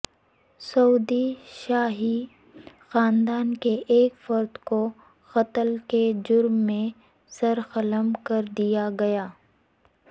سعودی شاہی خاندان کے ایک فرد کو قتل کے جرم میں سرقلم کردیا گیا